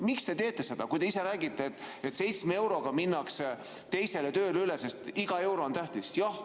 Miks te teete seda, kui te ise räägite, et seitsme euroga minnakse teisele tööle üle, sest iga euro on tähtis?